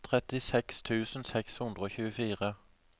trettiseks tusen seks hundre og tjuefire